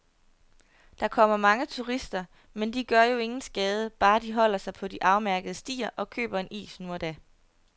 Der kommer mange turister, men de gør jo ingen skade, bare de holder sig på de afmærkede stier og køber en is nu og da.